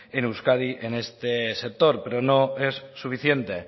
en euskadi en este sector pero no es suficiente